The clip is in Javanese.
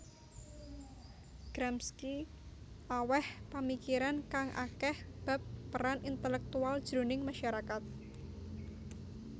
Gramsci awèh pamikiran kang akèh bab peran intelèktual jroning masyarakat